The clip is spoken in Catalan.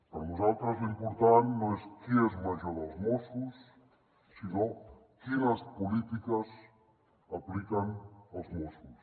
per nosaltres l’important no és qui és major dels mossos sinó quines polítiques apliquen els mossos